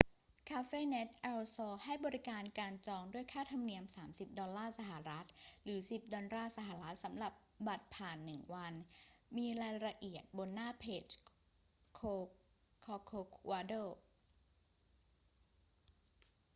cafenet el sol ให้บริการการจองด้วยค่าธรรมเนียม 30 ดอลลาร์สหรัฐ หรือ 10 ดอลลาร์สหรัฐ สำหรับบัตรผ่านหนึ่งวัน มีรายละเอียดบนหน้าเพจ corcovado